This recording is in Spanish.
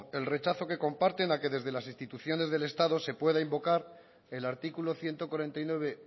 el rechazo que comparten a que desde las instituciones del estado se pueda invocar el artículo ciento cuarenta y nueve